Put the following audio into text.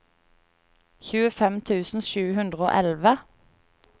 tjuefem tusen sju hundre og elleve